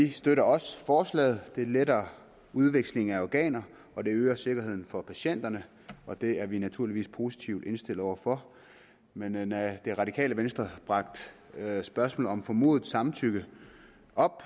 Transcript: vi støtter også forslaget det letter udvekslingen af organer og det øger sikkerheden for patienterne og det er vi naturligvis positivt indstillet over for men da det radikale venstre bragte spørgsmålet om formodet samtykke op